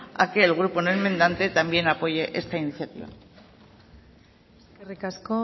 a que el grupo no enmendante también apoye esta iniciativa eskerrik asko